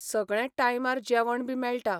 सगळें टायमार जेवण बी मेळटा.